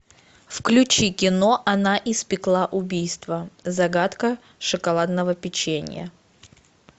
включи кино она испекла убийство загадка шоколадного печенья